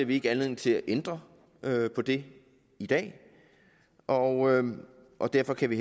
vi ikke anledning til at ændre på det i dag og og derfor kan vi